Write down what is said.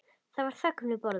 Það var þögn við borðið.